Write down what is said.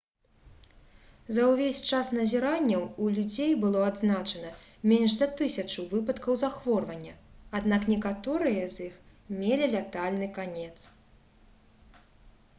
за ўвесь час назіранняў у людзей было адзначана менш за тысячу выпадкаў захворвання аднак некаторыя з іх мелі лятальны канец